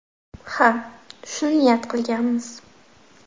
Ha, shuni niyat qilganmiz.